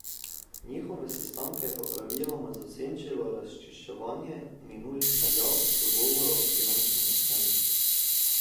Njihove sestanke pa je praviloma zasenčilo razčiščevanje minulih izjav, dogovorov, finančnega stanja.